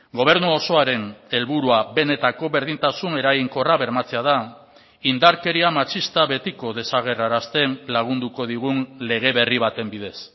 gobernu osoaren helburua benetako berdintasun eraginkorra bermatzea da indarkeria matxista betiko desagerrarazten lagunduko digun lege berri baten bidez